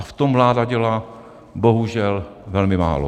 A v tom vláda dělá bohužel velmi málo.